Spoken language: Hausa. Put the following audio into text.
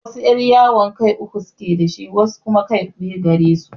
Wasu yar'yawo kai uku suke da shi, wasu kuma kai biyu gare su.